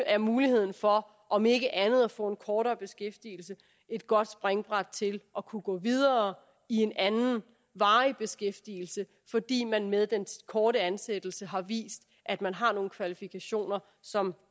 er muligheden for om ikke andet at få en kortere beskæftigelse et godt springbræt til at kunne gå videre i en anden varig beskæftigelse fordi man med den korte ansættelse har vist at man har nogle kvalifikationer som